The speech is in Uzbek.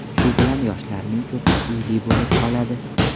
Shu bilan yoshlarning ko‘pi uyli bo‘lib qoladi.